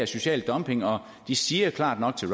social dumping og de siger klart nok til